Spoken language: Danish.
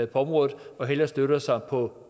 på området og hellere støtter sig på